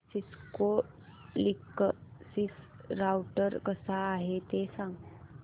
Cisco Linksys router कसा आहे ते सांग